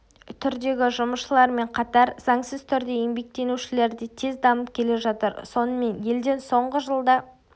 түрдегі жұмысшылармен қатар заңсыз түрде еңбектенушілер де тез дамып келе жатыр сонымен елден соңғы жылда